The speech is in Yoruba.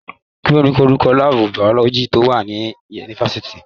Kí ni orúkọ láàbù biology tó wà ní yunifásitì?